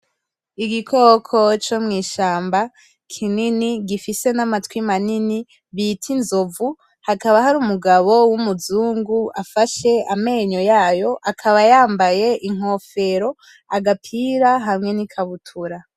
Igikoko comw'ishamba kinini gifise n'amatwi manini bita inzovu haka hari umugabo w'umuzungu afashe amenyo yayo akaba yambaye ingofero agapira hamwe nikabutura